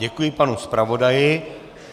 Děkuji panu zpravodaji.